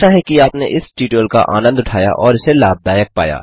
आशा है कि आपने इस ट्यूटोरियल का आनन्द उठाया और इसे लाभदायक पाया